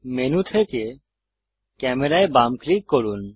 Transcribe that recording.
menu থেকে ক্যামেরায় বাম ক্লিক করুন